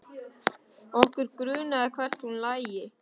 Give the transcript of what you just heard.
Okkur grunaði hvert hún lægi.